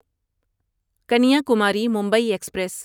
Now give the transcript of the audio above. Kanyakumari Mumbai express